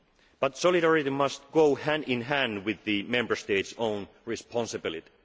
loans. But solidarity must go hand in hand with the Member State's own responsibility.